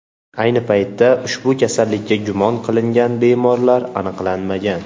Ayni paytda ushbu kasallikka gumon qilingan bemorlar aniqlanmagan.